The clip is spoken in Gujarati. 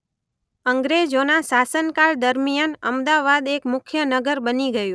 અંગ્રજોના શાસનકાળ દરમિયાન અમદાવાદ એક મુખ્ય નગર બની ગયું.